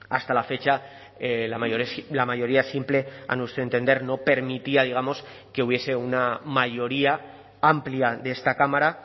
hasta la fecha la mayoría simple a nuestro entender no permitía digamos que hubiese una mayoría amplia de esta cámara